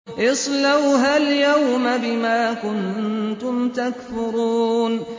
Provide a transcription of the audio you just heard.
اصْلَوْهَا الْيَوْمَ بِمَا كُنتُمْ تَكْفُرُونَ